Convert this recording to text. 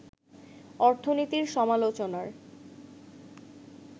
অর্থনীতির সমালোচনার